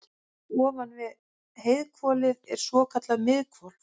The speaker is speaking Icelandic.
ofan við heiðhvolfið er svokallað miðhvolf